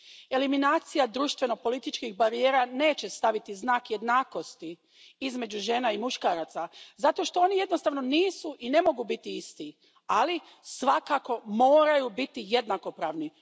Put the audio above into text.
Eliminacija društveno političkih barijera neće staviti znak jednakosti između žena i muškaraca zato što oni jednostavno nisu i ne mogu biti isti, ali svakako moraju biti jednakopravni.